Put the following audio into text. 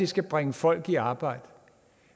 skal bringe folk i arbejde